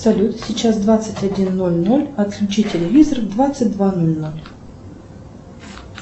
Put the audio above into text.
салют сейчас двадцать один ноль ноль отключи телевизор в двадцать два ноль ноль